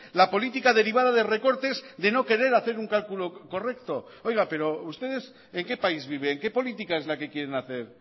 la política derivada de recortes de no querer hacer un cálculo correcto oiga pero ustedes en qué país viven qué política es la que quieren hacer